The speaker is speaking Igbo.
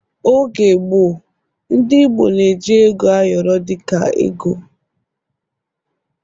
Oge gboọ, ndị Igbo n'eji ego ayoro dịka ego